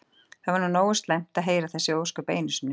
Það var nú nógu slæmt að heyra þessi ósköp einu sinni.